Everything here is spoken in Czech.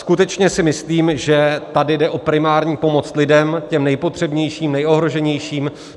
Skutečně si myslím, že tady jde o primární pomoc lidem, těm nejpotřebnějším, nejohroženějším.